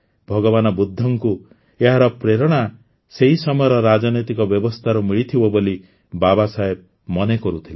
ଭଗବାନ ବୁଦ୍ଧଙ୍କୁ ଏହାର ପ୍ରେରଣା ସେହି ସମୟର ରାଜନୈତିକ ବ୍ୟବସ୍ଥାରୁ ମିଳିଥିବ ବୋଲି ବାବାସାହେବ ମନେକରୁଥିଲେ